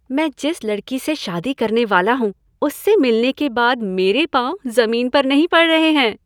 मैं जिस लड़की से शादी करने वाला हूँ, उससे मिलने के बाद मेरे पांव जमीन पर नहीं पड़ रहे हैं।